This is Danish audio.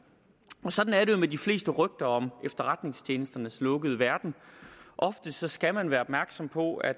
sådan er det jo med de fleste rygter om efterretningstjenesternes lukkede verden ofte skal man være opmærksom på at